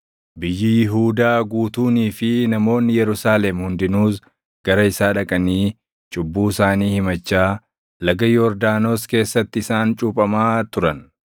Biyyi Yihuudaa guutuunii fi namoonni Yerusaalem hundinuus gara isaa dhaqanii cubbuu isaanii himachaa, Laga Yordaanos keessatti isaan cuuphamaa turan.